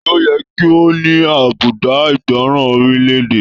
Taní o yẹ kí o ní àbùdá ìgbọràn orilẹ-èdè?